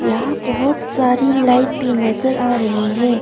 यहा बहोत सारी लाइट भी नज़र आ रहे है।